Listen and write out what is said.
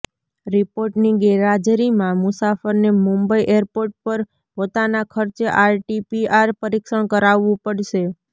રિપોર્ટની ગેરહાજરીમાં મુસાફરને મુંબઈ એરપોર્ટ પર પોતાના ખર્ચે આરટીપીઆર પરીક્ષણ કરાવવું પડશે